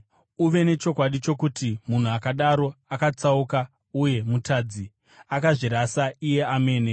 Uve nechokwadi chokuti munhu akadaro akatsauka uye mutadzi; akazvirasa iye amene.